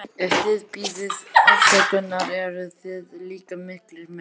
Ef þið biðjið afsökunar eruð þið líka miklir menn.